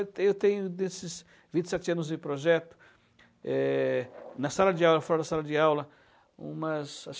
Eu tenho, nesses vinte e sete anos de projeto, eh na sala de aula fora da sala de aula, umas acho que